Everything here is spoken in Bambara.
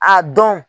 A dɔn